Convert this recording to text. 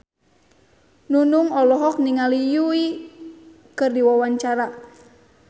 Nunung olohok ningali Yui keur diwawancara